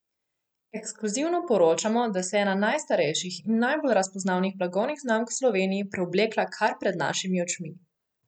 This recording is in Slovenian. Ekskluzivno poročamo, da se je ena najstarejših in najbolj razpoznavnih blagovnih znamk v Sloveniji preoblekla kar pred našimi očmi!